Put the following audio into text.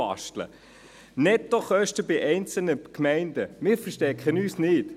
Die Nettokosten bei einzelnen Gemeinden: Wir verstecken uns nicht.